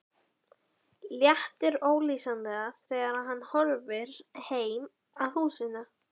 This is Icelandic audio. Léttir ólýsanlega þegar hann horfir heim að húsinu.